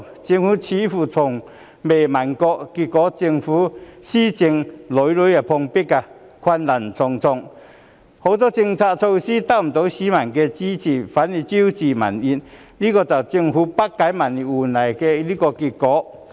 政府似乎從未過問，結果政府施政屢屢碰壁，困難重重，很多政策措施得不到市民的支持，反而招致民怨，這就是政府不解民意換來的結果。